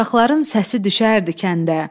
uşaqların səsi düşərdi kəndə.